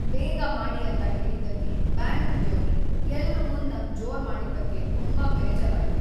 ಬೇಗ ಮಾಡಿ ಅಂತ ಹೇಳಿದ್ದಕ್ಕೆ ಬ್ಯಾಂಕ್ ಉದ್ಯೋಗಿ ಎಲ್ರ ಮುಂದ್ ನಂಗ್ ಜೋರ್ ಮಾಡಿದ್ದಕ್ಕೆ ತುಂಬಾ ಬೇಜಾರಾಯ್ತು.